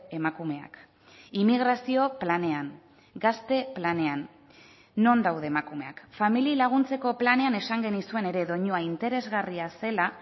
emakumeak immigrazio planean gazte planean non daude emakumeak familiei laguntzeko planean esan genizuen ere doinua interesgarria zela